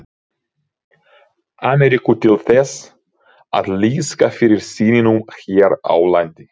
Ameríku til þess að liðka fyrir sýningum hér á landi.